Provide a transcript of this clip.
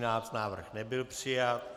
Návrh nebyl přijat.